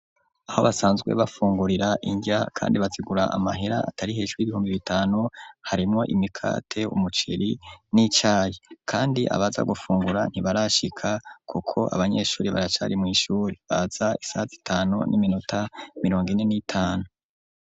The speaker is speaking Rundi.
Aho basanzwe bafungurira inrya kandi bazigura amahera atari hejru y'ibihumbi bitanu, harimo imikate umuceri n'icayi kandi abaza gufungura ntibarashika kuko abanyeshure baracari mw'ishure baza isaha z'itanu n'iminota mirongo ine n'itanu.